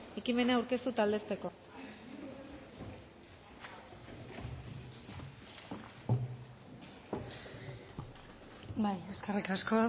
ekimena aurkeztu eta aldezteko bai eskerrik asko